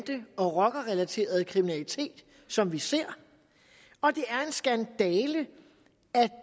og rockerrelaterede kriminalitet som vi ser og det er en skandale at